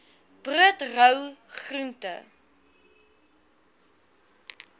brood rou groente